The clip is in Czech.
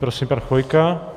Prosím, pan Chvojka.